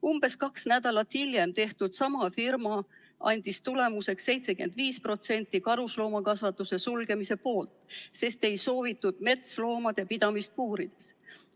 Umbes kaks nädalat hiljem tehtud sama firma küsitlus andis tulemuseks 75% karusloomakasvatuse sulgemise poolt, sest ei soovitud metsloomade pidamist puurides.